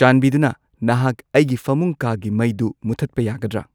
ꯆꯥꯟꯕꯤꯗꯨꯅ ꯅꯍꯥꯛ ꯑꯩꯒꯤ ꯐꯃꯨꯡ ꯀꯥꯒꯤ ꯃꯩꯗꯨ ꯃꯨꯊꯠꯄ ꯌꯥꯒꯗ꯭ꯔ